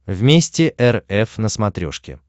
вместе эр эф на смотрешке